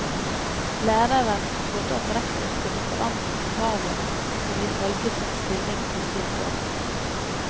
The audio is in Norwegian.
Læreren trodde at rektor skulle forandre på kravene hun ifølge sin stilling ble stilt overfor.